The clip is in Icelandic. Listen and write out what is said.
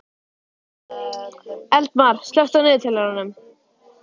Eldmar, slökktu á niðurteljaranum.